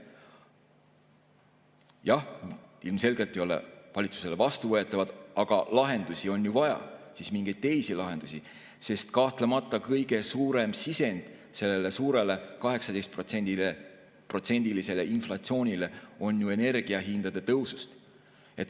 Jah, ilmselgelt ei ole need valitsusele vastuvõetavad, aga lahendusi on ju vaja, siis mingeid teisi lahendusi, sest kahtlemata selle suure, 18%‑lise inflatsiooni kõige suurem sisend tuleb ju energiahindade tõusust.